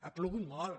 ha plogut molt